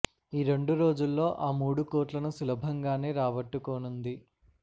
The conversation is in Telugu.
ఈరెండు రోజుల్లో ఆ మూడు కోట్లను సులభంగానే రాబట్టుకోనుంది